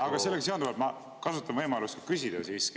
Aga sellega seonduvalt ma kasutan võimalust küsida.